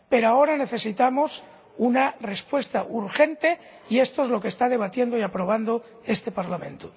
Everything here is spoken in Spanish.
Pero ahora necesitamos una respuesta urgente y esto es lo que está debatiendo y aprobando este Parlamento.